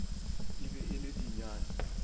e be e le dinyane